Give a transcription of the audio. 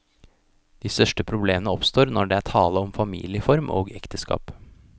De største problemer oppstår når det er tale om familieform og ekteskap.